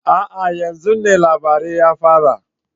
A'a! yan zun ne labarin ya fara